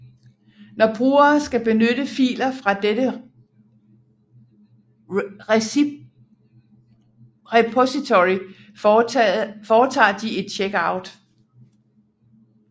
Når brugere skal benytte filer fra dette repository foretager de et checkout